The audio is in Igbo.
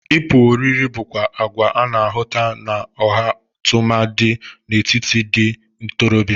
Ịpụ oriri bụkwa agwa a na-ahụta n'ọha tụmadị n'etiti ndị ntorọbịa.